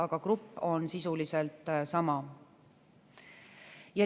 Aga grupp on sisuliselt sama.